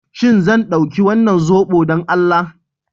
Shin zan ɗauki wannan zobo don Allah?